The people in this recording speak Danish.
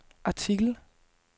artikel